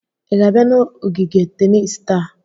ị ga-abịa n'ogige tenis taa?